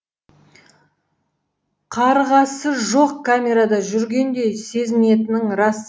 қаьырғасы жоқ камерада жүргендей сезінетінің рас